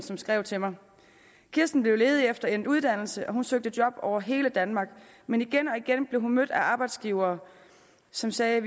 der skrev til mig kirsten blev ledig efter endt uddannelse og hun søgte job over hele danmark men igen og igen blev hun mødt af arbejdsgivere som sagde at